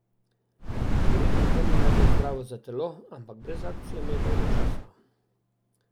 Verjetno to ni najbolj zdravo za telo, ampak brez akcije mi je dolgočasno.